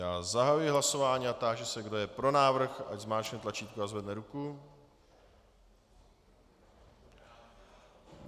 Já zahajuji hlasování a táži se, kdo je pro návrh, ať zmáčkne tlačítko a zvedne ruku.